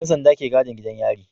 Yan sanda ke gadin gidan yari